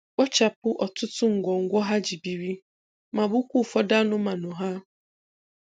kpochapụ ọtụtụ ngwongwo ha ji biri ma gbukwaa ụfọdụ anụmanụ ha.